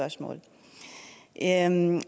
der er en